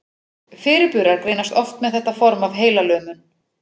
Fyrirburar greinast oft með þetta form af heilalömun.